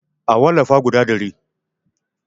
A wallafa guda ɗari